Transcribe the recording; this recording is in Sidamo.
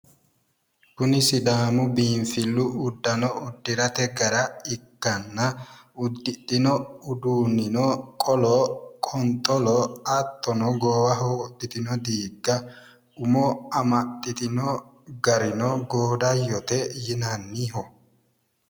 kuni sidaamu biinfillu uddanno uddirate gara ikkanna uddidhino uddannino qolo qonxolo hattono goowaho wodhitino diigga umo amaxxitino garino goodayyote yinanniho